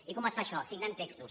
i com es fa això signant textos